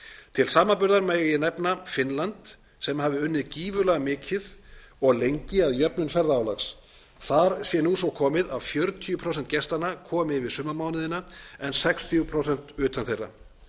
til samanburðar megi nefna finnland sem hafi unnið gífurlega mikið og lengi að jöfnun ferðaálags þar sé nú svo komið að um fjörutíu prósent gestanna komi yfir sumarmánuðina en sextíu prósent utan þeirra